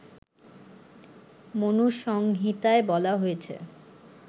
মনুসংহিতায় বলা হয়েছে